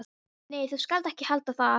Nei, þú skalt ekki halda það!